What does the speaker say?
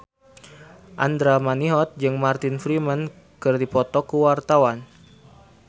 Andra Manihot jeung Martin Freeman keur dipoto ku wartawan